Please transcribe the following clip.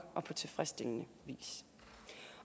og på tilfredsstillende vis